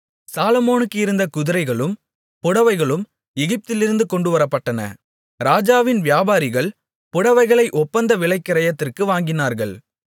சாலொமோனுக்கு இருந்த குதிரைகளும் புடவைகளும் எகிப்திலிருந்து கொண்டுவரப்பட்டன ராஜாவின் வியாபாரிகள் புடவைகளை ஒப்பந்த விலைக்கிரயத்திற்கு வாங்கினார்கள்